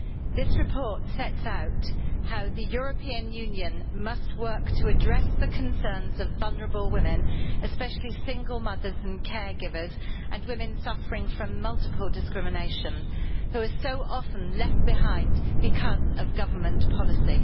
This report sets out how the European Union must work to address the concerns of vulnerable women, especially single mothers and caregivers and women suffering from multiple discriminations, who are so often left behind because of government policy.